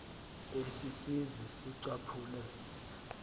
esi sizwe sicaphule